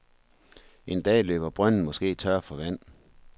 En dag løber brønden måske tør for vand.